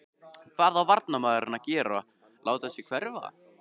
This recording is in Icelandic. Hvað á varnarmaðurinn að gera láta sig hverfa?